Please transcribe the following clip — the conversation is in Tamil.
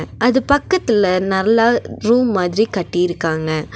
அது பக்கத்துல நல்ல ரூம் மாதிரி கட்டிருக்காங்க.